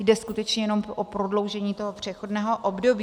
Jde skutečně jenom o prodloužení toho přechodného období.